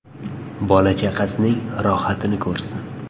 Bola-chaqasining rohatini ko‘rsin.